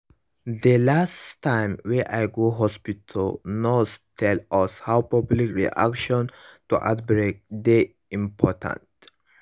dey last time wey i go go hospitalthe nurse tell us how public reaction to outbreak dey important